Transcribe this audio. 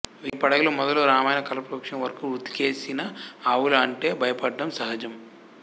వేయి పడగలు మొదలు రామాయణ కల్పవృక్షం వరకూ వుతికేసిన ఆవుల అంటే భయపడడం సహజం